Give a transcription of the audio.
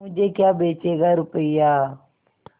मुझे क्या बेचेगा रुपय्या